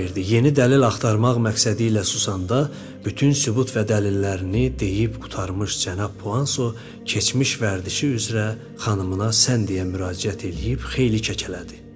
Yeni dəlil axtarmaq məqsədi ilə susanda, bütün sübut və dəlillərini deyib qurtarmış cənab Puanso keçmiş vərdişi üzrə xanımına sən deyə müraciət eləyib xeyli kəkələdi.